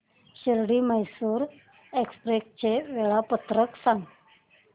Shirdi Mysore express चे वेळापत्रक सांग